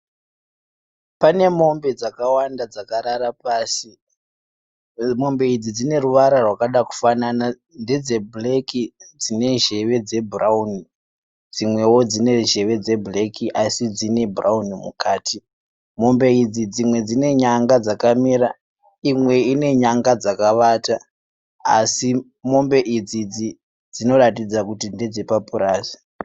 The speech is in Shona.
Pane mombe dzakawanda dzakarara pasi. Mombe idzi dzine ruvara rwakada kufanana ndedzebhureki dzine nzeve dzebhurauni dzimwewo dzine nzeve dzebhureki asi dzine bhurauni mukati. Mombe idzi dzimwe dzine nyanga dzakamira imwe ine nyanga dzakavata, asi mombe idzi dzinoratidza kuti ndedzepapurazi.